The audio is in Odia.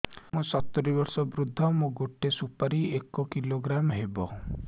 ମୁଁ ସତୂରୀ ବର୍ଷ ବୃଦ୍ଧ ମୋ ଗୋଟେ ସୁପାରି ଏକ କିଲୋଗ୍ରାମ ହେବ